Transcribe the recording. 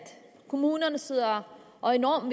kommunerne sidder og enormt